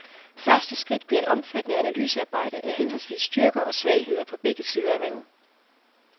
Første skridt bliver et omfattende analysearbejde af henholdsvis styrker og svagheder på begge sider af vandet.